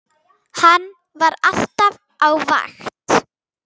Hann var alltaf á vakt.